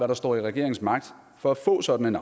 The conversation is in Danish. der står i regeringens magt for at få sådan en